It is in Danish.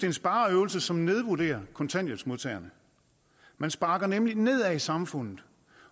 en spareøvelse som nedvurderer kontanthjælpsmodtagerne man sparker nemlig nedad i samfundet